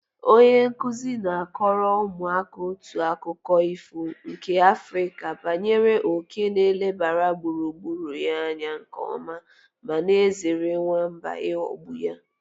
Onye nkuzi na-akọrọ ụmụaka otu akụkọ ifo nke Afrịka banyere òké nke na-elebara gburugburu ya anya nke ọma ma na-ezere nwamba ịghọgbụ ya.